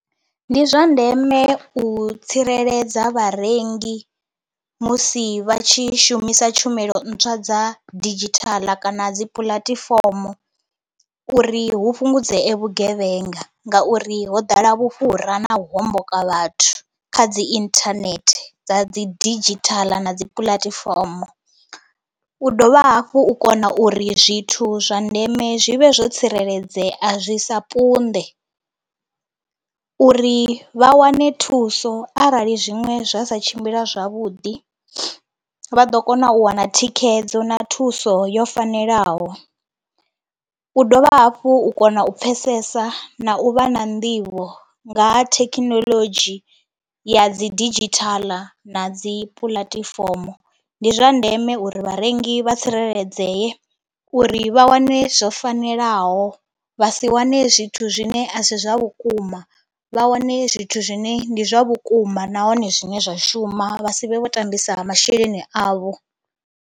Ndi zwa ndeme u tsireledza vharengi musi vha tshi shumisa tshumelo ntswa dza didzhithala kana dzi puḽatifomo uri hu fhungudzee vhugevhenga ngauri ho ḓala vhufhura na u homboka vhathu kha dzi inthanethe dza dzi didzhithaḽa na dzi puḽatifomo. U dovha hafhu u kona uri zwithu zwa ndeme zwi vhe zwo tsireledzea zwi sa punḓe uri vha wane thuso arali zwiṅwe zwa sa tshimbila zwavhuḓi vha ḓo kona u wana thikhedzo na thuso yo fanelaho. U dovha hafhu u kona u pfhesesa na u vha na nḓivho nga ha thekhinolodzhi ya dzi didzhithaḽa na dzi puḽatifomo. Ndi zwa ndeme uri vharengi vha tsireledzeye uri vha wane zwo fanelaho vha si wane zwithu zwine a si zwa vhukuma, vha wane zwithu zwine ndi zwa vhukuma nahone zwine zwa shuma vha si vhe vho tambisa masheleni avho.